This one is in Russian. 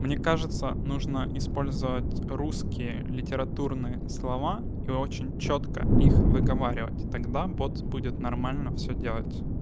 мне кажется нужно использовать русские литературные слова и очень чётко их выговаривать тогда бот будет нормально все делать